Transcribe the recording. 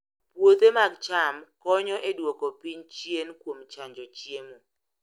Puothe mag cham konyo e duoko piny chien kuom chanjo chiemo